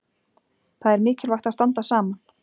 Það er mikilvægt að standa saman.